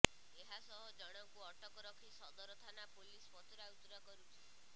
ଏହାସହ ଜଣଙ୍କୁ ଅଟକ ରଖି ସଦର ଥାନା ପୋଲିସ ପଚରାଉଚରା କରୁଛି